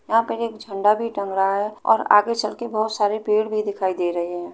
यहाँ पर एक झंडा भी टाँग रहा है और आगे चल कर बहुत सारे पेड़ दिखाई दे रहे हैं।